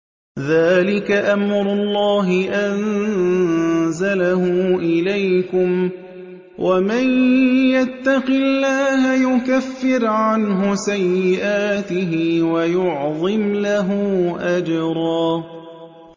ذَٰلِكَ أَمْرُ اللَّهِ أَنزَلَهُ إِلَيْكُمْ ۚ وَمَن يَتَّقِ اللَّهَ يُكَفِّرْ عَنْهُ سَيِّئَاتِهِ وَيُعْظِمْ لَهُ أَجْرًا